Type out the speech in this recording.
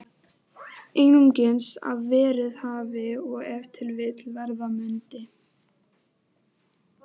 Einungis að verið hafi og ef til vill verða mundi.